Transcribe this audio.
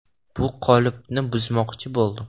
(Bu qolipni) buzmoqchi bo‘ldim.